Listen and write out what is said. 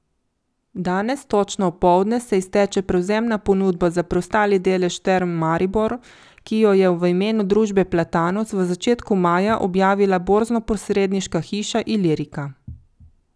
Danes točno opoldne se izteče prevzemna ponudba za preostali delež Term Maribor, ki jo je v imenu družbe Platanus v začetku maja objavila borznoposredniška hiša Ilirika.